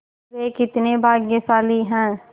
वे कितने भाग्यशाली हैं